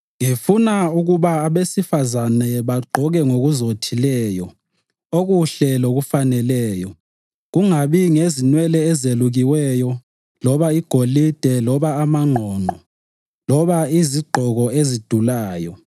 Ngifuna ukuba abesifazane bagqoke ngokuzothileyo, okuhle lokufaneleyo, kungabi ngenwele ezelukiweyo loba igolide loba amangqongqo loba izigqoko ezidulayo